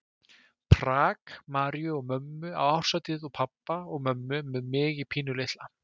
Prag, Maríu og mömmu á árshátíð og pabba og mömmu með mig pínulitla.